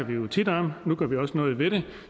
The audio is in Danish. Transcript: vi jo tit om nu gør vi også noget ved det